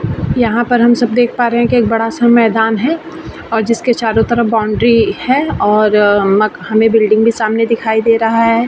यहाँ पर हम सब देख पे रहे है की एक बढ़ा सा मैदान है और जिसके चारों तरफ बाउंड्री है और हमें बिल्डिंग भी सामने दिखाई दे रहा है।